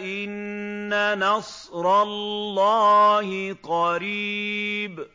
إِنَّ نَصْرَ اللَّهِ قَرِيبٌ